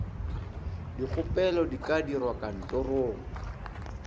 dikgopelo di ka dirwa kantorong